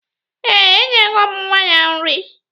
Ee, enyego m nwa ya nri